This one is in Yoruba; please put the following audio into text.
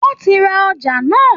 Wọ́n ti rà ọjà náà